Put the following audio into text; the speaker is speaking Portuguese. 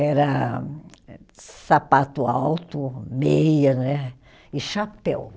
Era eh sapato alto, meia né, e chapéu.